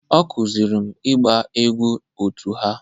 Ọ kụziiri m ịgba egwú otu ha